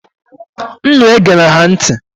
Unu egela ha ntị!